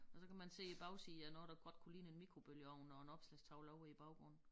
Og så kan man se æ bagside af noget der godt kunne ligne en mikrobølgeovn og en opslagstavle ovre i æ baggrund